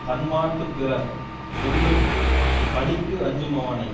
தன்மாட்டுப் பிறர் சொல்லும் பழிக்கு அஞ்சுமவனை